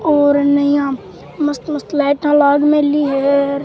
और अने इया मस्त मस्त लाइटाँ लाग मेली है।